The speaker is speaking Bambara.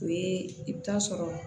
O ye i bɛ taa sɔrɔ